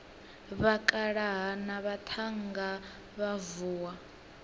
vhakalaha na vhaṱhannga vha vuwa